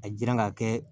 A jiran ka kɛ